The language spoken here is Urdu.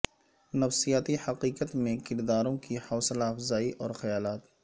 نفسیاتی حقیقت میں کرداروں کی حوصلہ افزائی اور خیالات